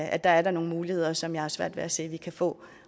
er der nogle muligheder som jeg har svært ved at se de kan få